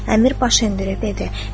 Əmir baş endirib dedi: